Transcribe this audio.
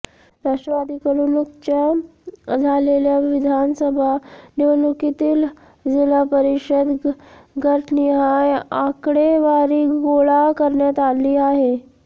राष्ट्रवादीकडून नुकतच्या झालेल्या विधानसभा निवडणुकीतील जिल्हा परिषद गटनिहाय आकडेवारी गोळा करण्यात आली आहे